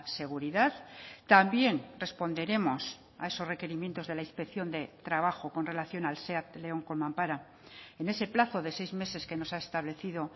seguridad también responderemos a esos requerimientos de la inspección de trabajo con relación al seat león con mampara en ese plazo de seis meses que nos ha establecido